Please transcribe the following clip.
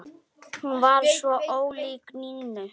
Hún var svo ólík Nínu.